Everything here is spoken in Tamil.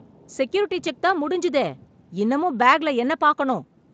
செக்யூரிட்டி செக் தான் முடிஞ்சதே, இன்னமும் பேக்ல என்ன பாக்கணும்?